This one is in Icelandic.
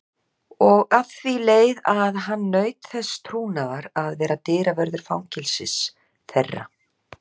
Og að því leið að hann naut þess trúnaðar að vera dyravörður fangelsis þeirra.